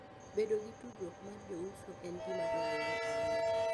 Bedo gi tudruok mar jouso en gima dwarore ahinya.